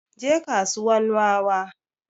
Je kasuwan wawa